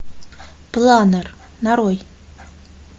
планер нарой